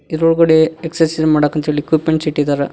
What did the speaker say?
ಇದರೊಳಗಡೆ ಎಕ್ಸರ್ಸೈಜ್ ಮಾಡಕ್ ಅಂತ್ ಹೇಳಿ ಇಕ್ವಿಪ್ಮೆಂಟ್ಸ್ ಇಟ್ಟಿದ್ದಾರೆ.